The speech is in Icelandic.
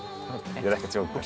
ég er ekki að djóka